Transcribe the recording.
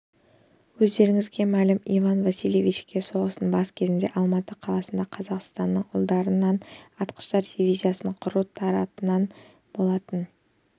өздеріңізге мәлім иван васильевичке соғыстың бас кезінде алматы қаласында қазақстанның ұлдарынан атқыштар дивизиясын құру тапсырылған болатын